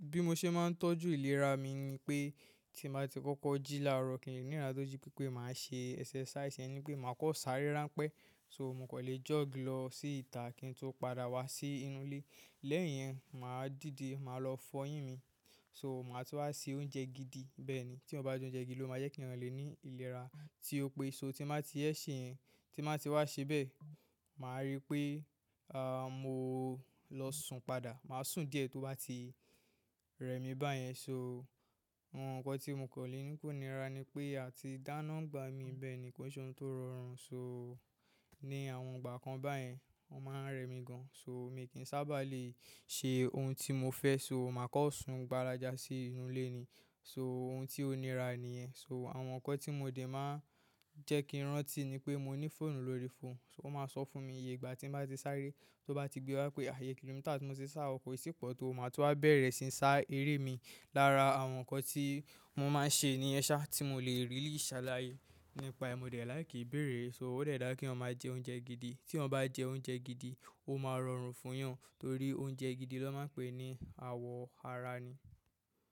Bí mo ṣe máa ń tọ́jú ìlera mi ni pé, tí n bá ti kọ́kọ́ jí láàárọ̀ ni ìlera tó jí pé pé màá ṣe exercise, ìyẹn ni pé màá kan sáré ránpẹ́. So mo kò lè jog lọ sí ìta kí n tó padà wá sí inú ilé. Lẹ́yìn yẹn, màá dìde, màá lọ fọyín mi. So màá tú wá se oúnjẹ gidi. Bẹ́ẹ̀ ni tí èèyàn bá jẹ oúnjẹ gidi ló máa jẹ́ kí èèyàn lè ní ìlera. Tí ó pé so tí màá ti ẹ̀ ṣe yẹn, tí màá ti wá ṣebẹ̀, màá rí pé, mo lọ sùn padà. Màá sùn díẹ̀ tó bá ti rẹ mi báyẹn. So àwọn nǹkan tí mo kò lè ní kò nira ni pé àti dáná ń gba mi bẹ́ẹ̀ ni kó ṣe ohun tó rọrùn. So, ni àwọn ìgbà kan bayen o maa n re mí gan. So mi kì í sábà lè ṣe ohun tí mo fẹ́. So màá kọ́ sun gbálajá sí inú ilé ni. So ohun tí ó nira nìyẹn. So àwọn nǹkan tí mo dè máa ń jẹ́ kí ì rántí ni pé mo ní fóònù lórí fóònù. Ó máa ń sọ fún mi iye ìgbà tí n bá ti sáré. Tó bá ti gbé wá pé iye kìlómítà tí mo ti sá, ko e ti pò tó, màá tún wá bẹ̀rẹ̀ síí sá eré mi. Lára àwọn nǹkan tii mo máa ṣe nìyẹn saa tii mo le really sàlàyé nípa e, mo de like ìbéèrè so ó de dà dá kí eeyan máa jẹ oúnjẹ gidi. Tí èèyàn bá jẹ oúnjẹ gidi, ó máa rọrùn fún yan. Torí oúnjẹ gidi ló máa ń pè ní àwọ̀ ara ni.